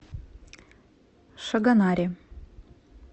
шагонаре